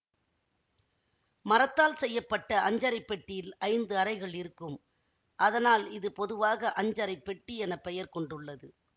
மரத்தால் செய்ய பட்ட அஞ்சறை பெட்டியில் ஐந்து அறைகள் இருக்கும் அதனால் இது பொதுவாக அஞ்சறை பெட்டி என பெயர் கொண்டுள்ளது